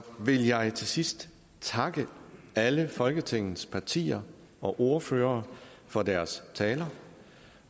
vil jeg til sidst takke alle folketingets partier og ordførere for deres taler